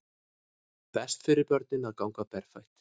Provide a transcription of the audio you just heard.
Best fyrir börnin að ganga berfætt